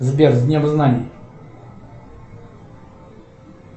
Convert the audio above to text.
сбер с днем знаний